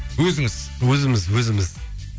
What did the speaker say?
өзіңіз өзіміз өзіміз